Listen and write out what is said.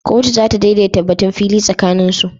Kotu za ta daidaita batun fili tsakanin su